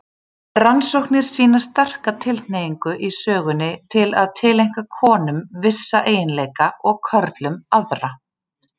Rannsóknir sýna sterka tilhneigingu í sögunni til að tileinka konum vissa eiginleika og körlum aðra.